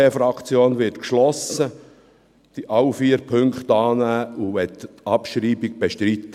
Die SVP-Fraktion wird alle vier Punkte geschlossen annehmen und möchte die Abschreibung bestreiten.